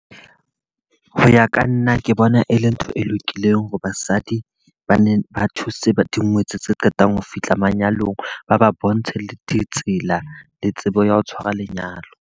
Ho ya ka nna, ke bona e le ntho e lokileng hore basadi ba ne ba thuse dingwetsi tse qetang ho fihla manyalong. Ba ba bontshe le ditsela le tsebo ya ho tshwara lenyalo.